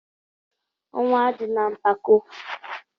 Ọnwụ adịna mpako!